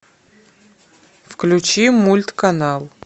включи мульт канал